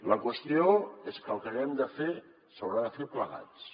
la qüestió és que el que haguem de fer s’haurà de fer plegats